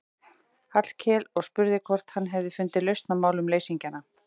Hallkel og spurði hvort hann hefði fundið lausn á málum leysingjanna.